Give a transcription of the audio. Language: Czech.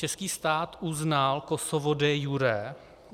Český stát uznal Kosovo de iure.